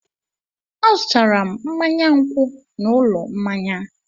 Azụtara m mmanya nkwụ n'ụlọ mmanya.